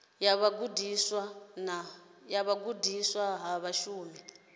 ya vhugudisi ha mushumo i